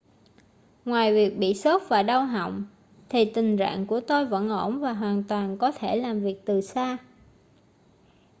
ngoài việc bị sốt và đau họng thì tình rạng của tôi vẫn ổn và hoàn toàn có thể làm việc từ xa